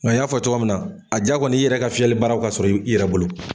Nka n y'a fɔ cogoya min na a ja kɔni ye iyɛrɛ ka fiyɛlibaaraw ka sɔrɔ i yɛrɛ bolo.